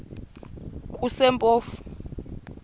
kusempofu